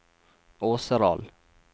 Åseral